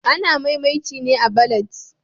Ana mai'mainci ne a'ballads.